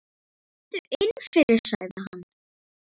Komdu inn fyrir, sagði hann.